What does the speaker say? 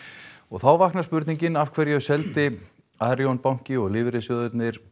þá vaknar spurningin af hverju seldi Arion banki og lífeyrissjóðirnir